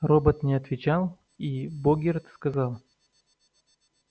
робот не отвечал и богерт сказал